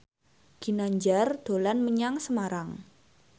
Ginanjar dolan menyang Semarang